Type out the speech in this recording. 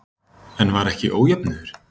En var ekki ójöfnuður?